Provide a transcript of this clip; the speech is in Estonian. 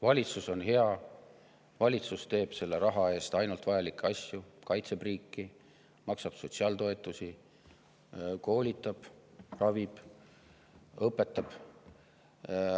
Valitsus on hea, valitsus teeb selle raha eest ainult vajalikke asju: kaitseb riiki, maksab sotsiaaltoetusi, koolitab, ravib, õpetab.